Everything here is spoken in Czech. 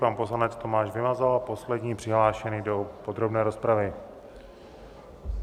Pan poslanec Tomáš Vymazal, poslední přihlášený do podrobné rozpravy.